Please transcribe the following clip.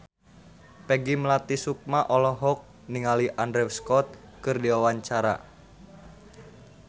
Peggy Melati Sukma olohok ningali Andrew Scott keur diwawancara